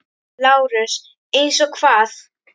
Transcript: LÁRUS: Eins og hvað?